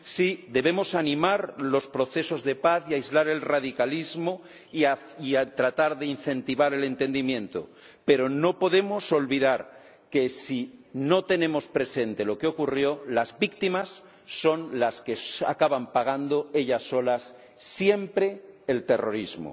Sí, debemos animar los procesos de paz y aislar el radicalismo y tratar de incentivar el entendimiento, pero no podemos olvidar que, si no tenemos presente lo que ocurrió, las víctimas son las que acaban pagando siempre, ellas solas, el terrorismo.